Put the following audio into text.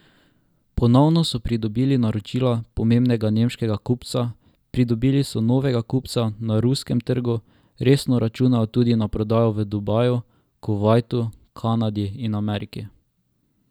Ponovno so pridobili naročila pomembnega nemškega kupca, pridobili so novega kupca na ruskem trgu, resno računajo tudi na prodajo v Dubaju, Kuvajtu, Kanadi in Ameriki.